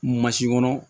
kɔnɔ